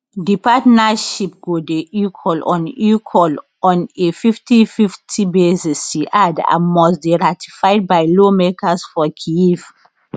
di partnership go dey equal on equal on a 5050 basis she add and must dey ratified by lawmakers for kyiv